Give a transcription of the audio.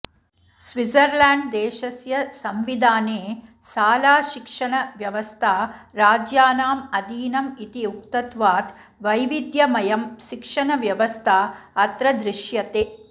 स्विट्झर्ल्याण्ड्देशस्य संविधाने शालाशिक्षणव्यवस्था राज्यानाम् अधीनम् इति उक्तत्वात् वैविध्यमयं शिक्षणव्यवस्था अत्र दृश्यते